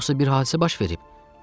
Yoxsa bir hadisə baş verib?